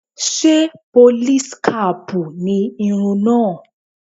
Ṣé pólís kaàpù ni irun náà?